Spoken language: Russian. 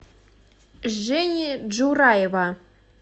жени джураева